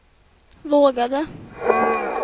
vågade